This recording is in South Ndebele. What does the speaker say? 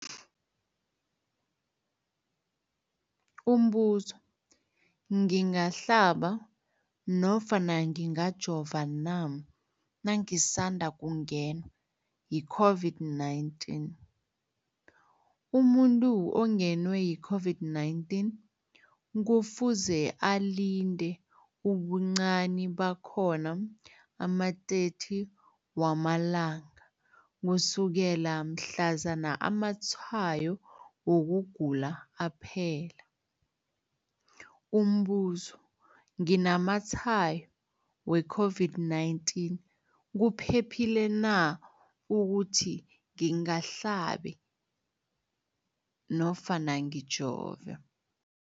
Umbuzo, ngingahlaba nofana ngingajova na nangisandu kungenwa yi-COVID-19? Umuntu ongenwe yi-COVID-19 kufuze alinde ubuncani bakhona ama-30 wama langa ukusukela mhlazana amatshayo wokugula aphela. Umbuzo, nginamatshayo we-COVID-19, kuphephile na ukuthi ngihlabe nofana ngijove?